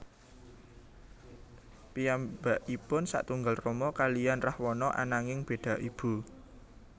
Piyambakipun satunggal rama kaliyan Rahwana ananging beda ibu